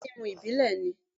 Bẹ́ẹ̀ni ohun mímu ìbílè ni.